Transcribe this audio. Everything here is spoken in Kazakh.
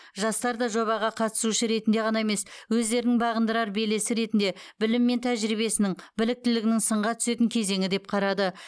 жастар да жобаға қатысушы ретінде ғана емес өздерінің бағындырар белесі ретінде білімі мен тәжірибесінің біліктілігінің сынға түсетін кезеңі деп қарады